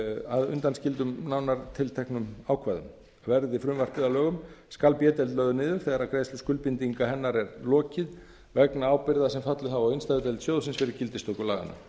að undanskildum nánar tilteknum ákvæðum verði frumvarpið að lögum skal b deild lögð niður þegar greiðslu skuldbindinga hennar er lokið vegna ábyrgða sem fallið hafa á innstæðudeild sjóðsins fyrir gildistöku